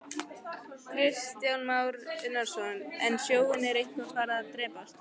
Kristján Már Unnarsson: En sjónin er eitthvað farin að daprast?